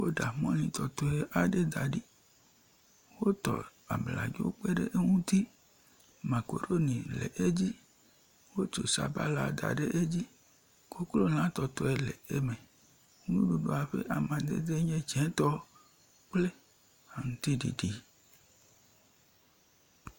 Woɖa mɔli tɔtɔe aɖe da ɖi. Wotɔ abadzo kpe ɖe eŋuti. Makaɖoni le edzi, wotso sabala da ɖe edzi, koklolatɔtɔe le eme. Nuɖuɖa ƒe amadede enye dzetɔ kple aŋtiɖiɖi.